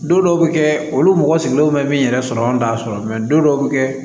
Don dɔw bɛ kɛ olu mɔgɔ sigilenw bɛ min yɛrɛ sɔrɔ anw t'a sɔrɔ don dɔw bɛ kɛ